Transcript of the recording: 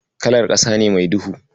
Kalar ƙasa ne mai duhu.